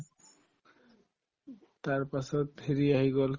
তাৰপাছত হেৰি আহি গল